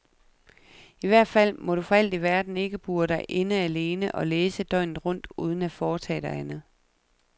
I hvert fald må du for alt i verden ikke bure dig inde alene og læse døgnet rundt uden at foretage dig andet.